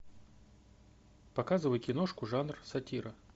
показывай киношку жанр сатира